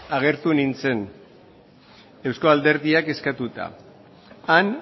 agertu nintzen eusko alderdiak eskatuta han